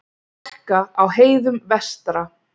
Hálka á heiðum vestra